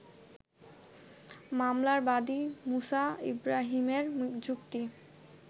মামলার বাদী মুসা ইব্রাহীমের যুক্তি